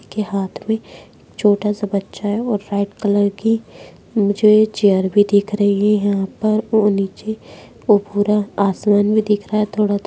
के हाथ में छोटा-सा बच्चा है और व्हाइट कलर की मुझे ये चेयर भी दिख रही है यहां पर और नीचे वो भूरा आसमान भी दिख रहा है थोड़ा थोड़ा----